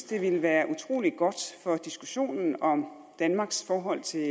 det ville være utrolig godt for diskussionen om danmarks forhold til